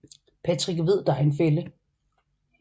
Patrick ved der er en fælde